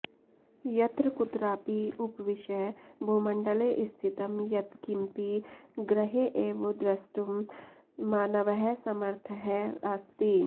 यत्र कुत्रापि उपविश्य भूमण्डले स्थितं यत्किमपि गृहे एव द्रष्टुं मानवः समर्थः अस्ति